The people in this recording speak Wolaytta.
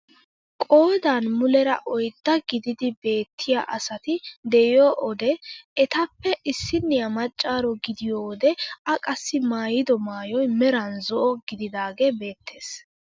Qoodan muleera oyddaa gididi beettiyaa asati de'iyoo owde etappe issiniyaa maccaaro gidiyoo wode a qassi maayido maayoy meran zo'o gididaagee beettees.